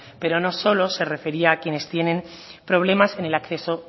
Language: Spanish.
pero no solo se refería a quienes tienen problemas en el acceso